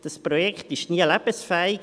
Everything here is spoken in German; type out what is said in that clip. das Projekt war nie lebensfähig.